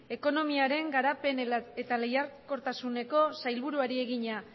ekonomiaren garapen eta lehiakortasuneko sailburuari egina